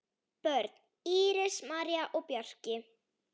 Börn: Íris, María og Bjarki.